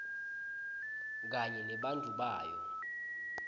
kanye nebantfu bayo